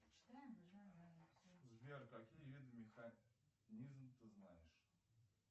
сбер какие виды механизм ты знаешь